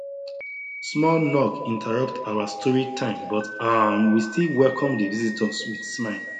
small knock interrupt our story time but um we still welcome the visitors with smile